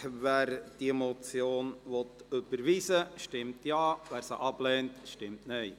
Wer diese Motion überweisen will, stimmt Ja, wer dies ablehnt, stimmt Nein.